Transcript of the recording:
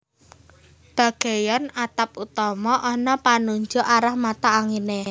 Bagéyan atap utama ana panunjuk arah mata anginé